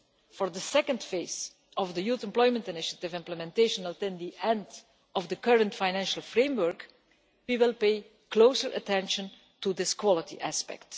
For the second phase of the Youth Employment Initiative's implementation, until of the end of the current financial framework, we will pay close attention to this quality aspect.